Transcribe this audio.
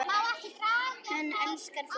Hann elskar fólk.